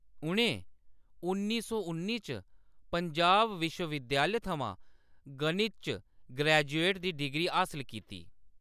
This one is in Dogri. उʼनें उन्नी सौ उन्नी च पंजाब विश्व-विद्यालय थमां गणित च ग्रेजुएट दी डिग्री हासल कीती।